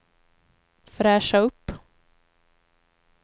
fräscha upp